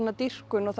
dýrkun og